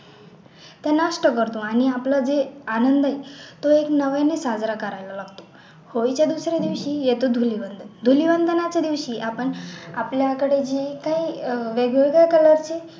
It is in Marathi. ते नष्ट करतो आणि आपला जे आनंद आहे तो एक म्हणूनच साजरा करायला लागतो होळीच्या दुसऱ्या दिवशी येतो धुलिवंदन धुलीवंदनाच्या दिवशी आपण आपल्याकडे जे काही अह वेगळे वेगळे color चे